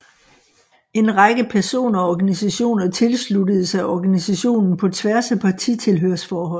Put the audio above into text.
En række personer og organisationer tilsluttede sig organisationen på tværs af partitilhørsforhold